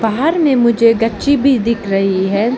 बाहर में मुझे गच्ची भी दिख रही है।